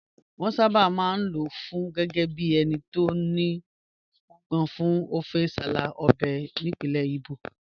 Wọ́n sábà máa ń lò ó gẹ́gẹ́ bí ẹni tó nípọn fún ọfẹ nsala, ọbẹ̀ ìbílẹ̀ Igbo